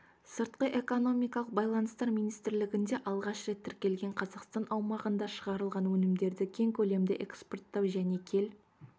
сыртқы экономикалық байланыстар министрлігінде алғаш рет тіркелген қазақстан аумағында шығарылған өнімдерді кең көлемде экспорттау және кел